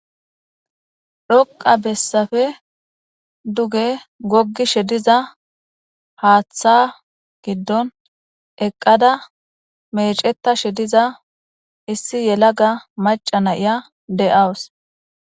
dhoqa bessafe duge goggi shediza haaththa giddon eqqada meceta shediza issi yelaga maca nayiya de7awus